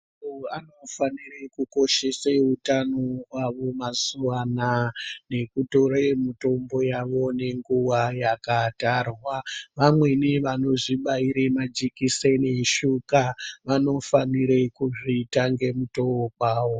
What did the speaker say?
Antu anofanire kukoshese utano hwavo mazuva anaa nekutore mutombo yavo nenguva yakatarwa. Vamweni vanozvibaire majekiseni eshuga vanofanire kuzviita ngemutowo kwawo.